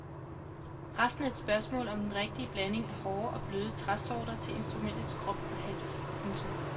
Resten er et spørgsmål om den rigtige blanding af hårde og bløde træsorter til instrumentets krop og hals. punktum